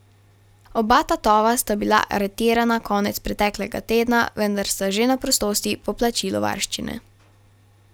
Oba tatova sta bila aretirana konec preteklega tedna, vendar sta že na prostosti po plačilu varščine.